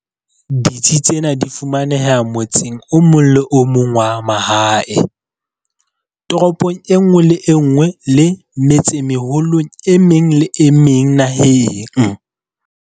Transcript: Ditsi tsena di fumaneha motseng o mong le o mong wa mahae, toropong e nngwe le e nngwe le metsemeholong e meng le e meng naheng.